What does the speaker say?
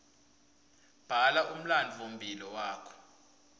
bhala umlandvomphilo wakho